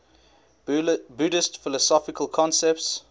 buddhist philosophical concepts